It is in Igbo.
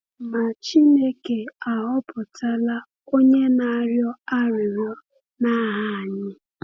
Ma Chineke ahọpụtala onye na-arịọ arịrịọ n’aha anyị.